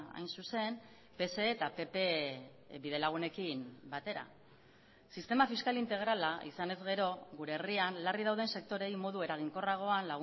hain zuzen pse eta pp bidelagunekin batera sistema fiskal integrala izanez gero gure herrian larri dauden sektoreei modu eraginkorragoan